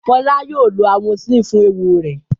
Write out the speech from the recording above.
Fọlá yóò lo amoxicillin fún eéwo rẹ̀.